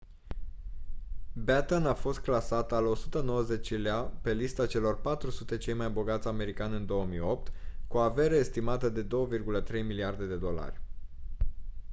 batten a fost clasat al 190-lea pe lista celor 400 cei mai bogați americani în 2008 cu o avere estimată de 2,3 miliarde de dolari